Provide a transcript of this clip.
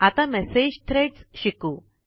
आता message threads शिकू